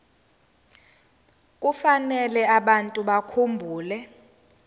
kufanele abantu bakhumbule